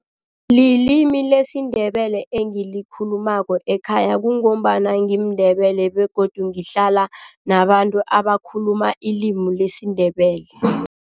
Lilimi lesiNdebele engilikhulumako ekhaya kungombana ngimiNdebele begodu ngihlala nabantu abakhuluma ilimi lesiNdebele.